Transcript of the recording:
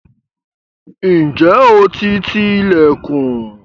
Ǹjẹ́ o ti ti ilẹ̀kùn?